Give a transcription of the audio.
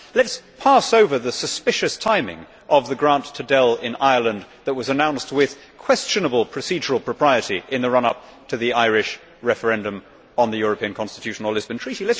Let us pass over the suspicious timing of the grant to Dell in Ireland that was announced with questionable procedural propriety in the run up to the Irish referendum on the European Constitution or Lisbon Treaty.